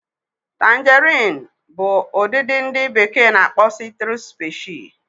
Tangarin bu udidi ndi beke n'akpo Citrus specie